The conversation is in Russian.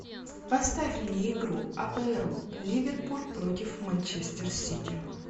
поставь мне игру апл ливерпуль против манчестер сити